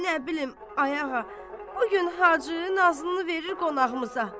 Nə bilim, ay ağa, bu gün Hacı Nazlını verir qonağımıza.